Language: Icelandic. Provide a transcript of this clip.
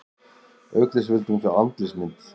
Auk þess vildi hún fá andlitsmynd